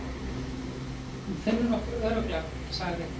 Hún finnur okkur örugglega, sagði